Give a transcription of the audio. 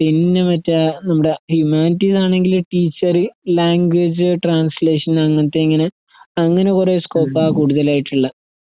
പിന്നെ മറ്റെആ നമ്മുടെ ഹ്യൂമാനിറ്റീസാണെങ്കിൽ ടീച്ചർ, ലാംഗ്വേജ്ട്രാൻസ്ലേഷൻ അങ്ങനത്തെയിങ്ങനെ അങ്ങനെ കുറേസ്കോപ്പാ കൂടുതലായിട്ടുള്ളെ.